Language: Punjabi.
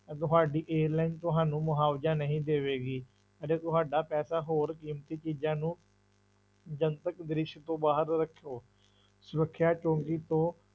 ਤੁਹਾਡੀ ਏਅਰਲਾਈਨ ਤੁਹਾਨੂੰ ਮੁਆਵਜ਼ਾ ਨਹੀਂ ਦੇਵੇਗੀ, ਅਤੇ ਤੁਹਾਡਾ ਪੈਸਾ ਹੋਰ ਕੀਮਤੀ ਚੀਜ਼ਾਂ ਨੂੰ ਜਨਤਕ ਦ੍ਰਿਸ਼ ਤੋਂ ਬਾਹਰ ਰੱਖੋ, ਸੁਰੱਖਿਆ ਤੋਂ